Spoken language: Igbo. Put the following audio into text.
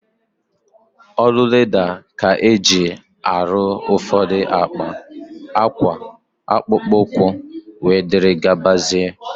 Ọrụ leda ka e ji arụ ụfọdụ akpa, akwa, akpụkpọ ụkwụ, wee dịrị gabazia